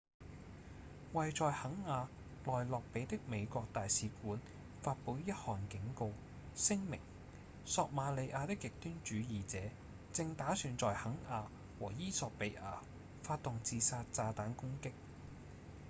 位在肯亞奈洛比的美國大使館發布一項警告聲明「索馬利亞的極端主義者」正打算在肯亞和衣索比亞發動自殺炸彈攻擊